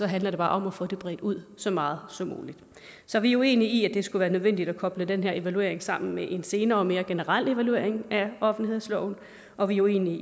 handler det bare om at få det bredt ud så meget som muligt så vi er uenige i skulle være nødvendigt at koble den her evaluering sammen med en senere og mere generel evaluering af offentlighedsloven og vi er uenige